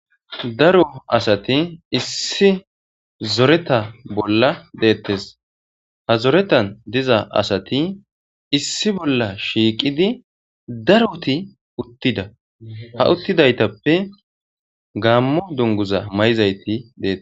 Daro asathi issipe zoretha bolla deeththes;ha zorethan diza asathi issi bolla shiiqidi darothi uththida;ha uththidaagetuppe gaammo dungguzza mayizaythi deeththes.